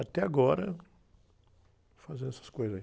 Até agora, fazendo essas coisas aí.